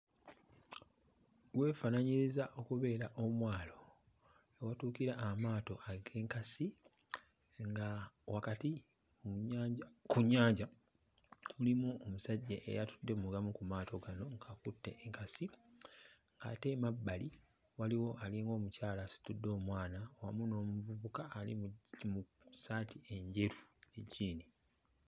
Weefaananyiriza okubeera omwalo awatuukira amaato ag'enkasi nga wakati mu nnyanja ku nnyanja mulimu omusajja eyali atudde mu gamu ku maato gano ng'akutte enkasi, ate emabbali waliwo alinga omukyala asitudde omwana wamu n'omuvubuka ali mu mu ssaati enjeru ne jjiini.